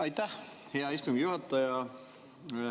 Aitäh, hea istungi juhataja!